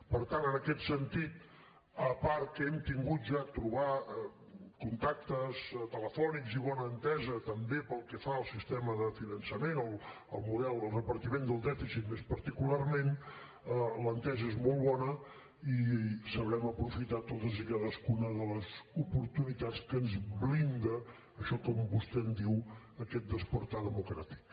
per tant en aquest sentit a part que hem tingut ja contactes telefònics i bona entesa també pel que fa al sistema de finançament el repartiment del dèficit més particularment l’entesa és molt bona i sabrem aprofitar totes i cadascuna de les oportunitats que ens blinda això que vostè en diu aquest despertar democràtic